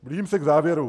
Blížím se k závěru.